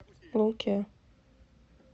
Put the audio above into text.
луке